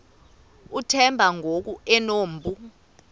uthemba ngoku enompu